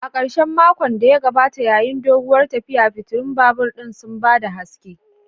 A karshen makon da ya gabata, yayin doguwar tafiya, fitilun babur ɗin sun ba da haske